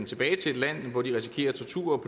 tilbage til et land hvor de risikerer tortur